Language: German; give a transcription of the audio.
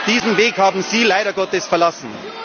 Diesen Weg haben Sie leider Gottes verlassen.